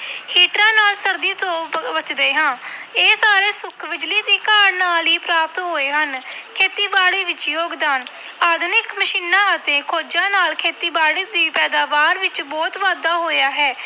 ਹੀਟਰਾਂ ਨਾਲ ਸਰਦੀ ਤੋਂ ਬ ਬਚਦੇ ਹਾਂ ਇਹ ਸਾਰੇ ਸੁੱਖ ਬਿਜ਼ਲੀ ਦੀ ਕਾਢ ਨਾਲ ਹੀ ਪ੍ਰਾਪਤ ਹੋਏ ਹਨ ਖੇਤੀਬਾੜੀ ਵਿੱਚ ਯੋਗਦਾਨ ਆਧੁਨਿਕ ਮਸ਼ੀਨਾਂ ਅਤੇ ਖੋਜ਼ਾਂ ਨਾਲ ਖੇਤੀਬਾੜੀ ਦੀ ਪੈਦਾਵਾਰ ਵਿੱਚ ਬਹੁਤ ਵਾਧਾ ਹੋਇਆ ਹੈ।